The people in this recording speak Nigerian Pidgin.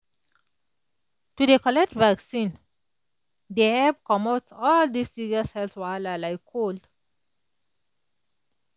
to dey collect vaccine dey epp comot all dis serious health wahala like col